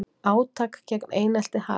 Átak gegn einelti hafið